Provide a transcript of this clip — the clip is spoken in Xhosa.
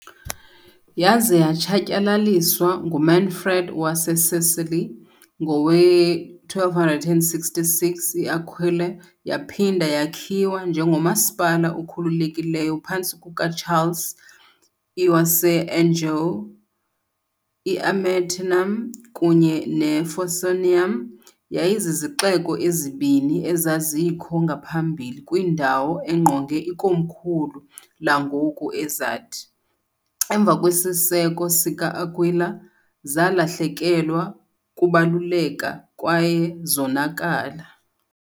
Yaze yatshatyalaliswa nguManfred waseSicily, ngowe-1266 iAquila yaphinda yakhiwa njengomasipala okhululekileyo phantsi kukaCharles I waseAnjou. "I-Amiternum" kunye "ne-Forconium" yayizizixeko ezibini ezazikho ngaphambili kwindawo engqonge ikomkhulu langoku ezathi, emva kwesiseko sika-Akwila, zalahlekelwa kubaluleka kwaye zonakala.